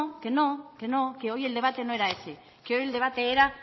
que no que no que hoy el debate no era ese que hoy el debate era